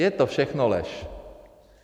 Je to všechno lež.